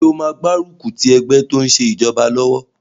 Ṣé o máa gbárùkù ti ẹgbẹ́ tó n ṣe ìjọba lọ́wọ́?